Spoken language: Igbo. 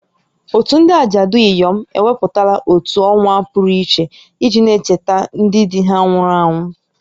Òtù ndị ajadu inyom ewepụtala otu ọnwa pụrụ iche iji na-echeta ndị di ha nwụrụ anwụ